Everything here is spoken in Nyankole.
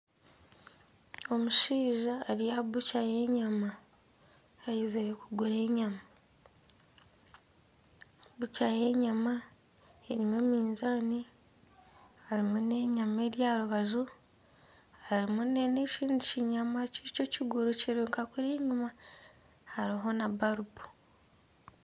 Omushaija ari aha bukya y'enyama aizire kugura enyama, bukya y'enyama erimu mizaani harimu n'enyama eri aha rubaju harimu n'ekindi kinyama ky'ekiguru kiri nka kuriya enyuma hariho na balubu.